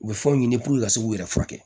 U bɛ fɛnw ɲini puruke ka se k'u yɛrɛ furakɛ